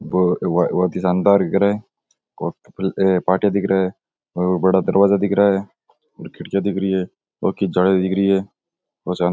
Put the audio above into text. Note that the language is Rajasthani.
वो बोहोत ही शानदार घर है और पाटिया दिख रहा है बड़ा दरवाज़ा दिख रहा है और खिड़किया दिख रही है लौह की जालियां दिख रही है।